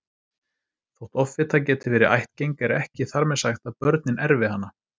Þótt offita geti verið ættgeng er ekki þar með sagt að börnin erfi hana.